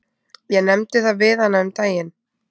Ég nefndi það við hana um daginn.